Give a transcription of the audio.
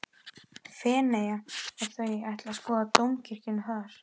Feneyja og þau ætla að skoða dómkirkjuna þar.